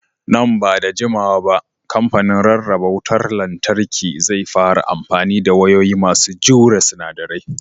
Nan ba da jimawa ba kamfanin rarraba wutar lantarki zai fara amfani da wayoyi masu jure sinadarai.